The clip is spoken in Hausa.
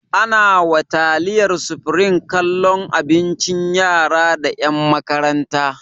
Ana wa taliyar supreme kallon abincin yara da ƴan makaranta